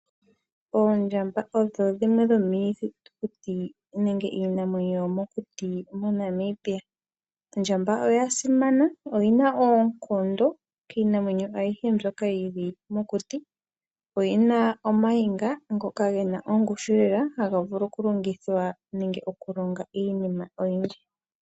Oondjamba odho dhimwe dho miithitukuti nenge iinamwenyo yomokuti MoNamibia. Ondjamba oya simana oyina oonkondo kiinamwenyo ayihe mbyoka yili mokuti. Oyina omukoti ngoka guna ongushu lela hagu vulu okulongithwa nenge okulonga iinima oyindji.